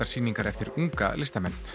sýningar eftir unga listamenn